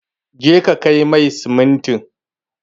Je ka kai mai siminti!